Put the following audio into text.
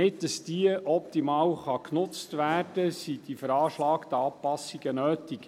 Damit dieser optimal genutzt werden kann, sind die veranschlagten Anpassungen nötig.